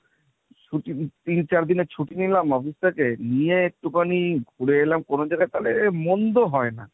ছুটি তিন চার দিনের ছুটি নিলাম office থেকে নিয়ে একটুখানি ঘুরে এলাম কোনো জায়গায় তাহলে মন্দ হয় না।